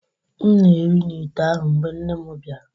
M na-eri n’ite ahụ, mgbe nne m bịara